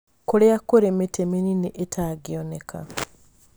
Kũrĩa kũrĩ mĩtĩ mĩnini ĩtangĩoneka